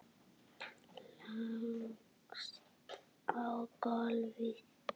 Leggst á gólfið.